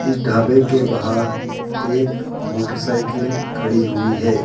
इस ढाबे के बाहर एक मोटरसाइकिल खड़ी हुई है।